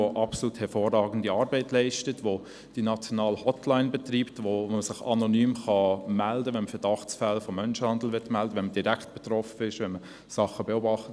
Diese Stelle leistet hervorragende Arbeit, sie betreibt die nationale Hotline, wo man sich anonym melden kann, wenn man Verdachtsfälle von Menschenhandel melden will, wenn man direkt betroffen ist, oder wenn man Dinge beobachtet.